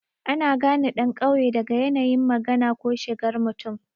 Ana gane ɗan ƙauye daga yanayin magana ko shigar mutum.